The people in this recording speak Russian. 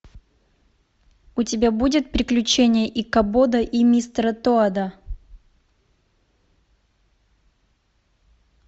у тебя будет приключения икабода и мистера тоада